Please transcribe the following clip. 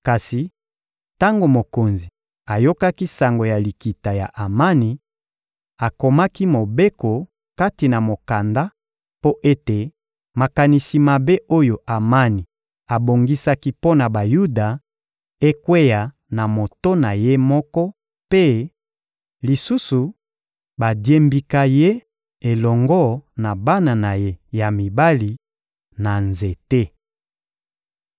Kasi tango mokonzi ayokaki sango ya likita ya Amani, akomaki mobeko kati na mokanda mpo ete makanisi mabe oyo Amani abongisaki mpo na Bayuda ekweya na moto na ye moko mpe, lisusu, badiembika ye elongo na bana na ye ya mibali, na nzete.